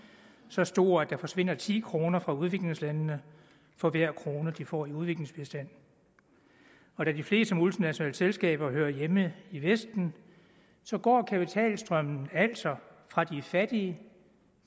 så stor at der forsvinder ti kroner fra udviklingslandene for hver krone de får i udviklingsbistand og da de fleste multinationale selskaber hører hjemme i vesten går kapitalstrømmen altså fra de fattige